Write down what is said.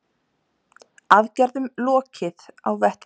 Aðgerðum lokið á vettvangi